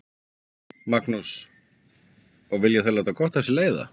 Magnús: Og þau vilja láta gott af sér leiða?